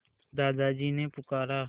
दादाजी ने पुकारा